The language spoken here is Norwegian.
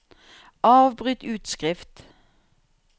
avbryt utskrift